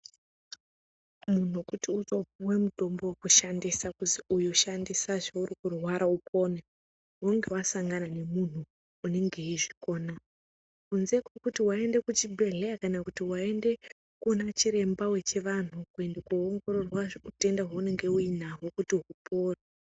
Muntu kuti utopiwa mutombo wekushandisa kuzi uyu shandisa zveuri kurwara upone unenge wasangana nemuntu unenge eizvikona kunze kwekuti waende kuchibhedhleya kana kuti koona chiremba wechivantu kuenda koongororwa utenda hwaunenge uinahwo kuti hupore.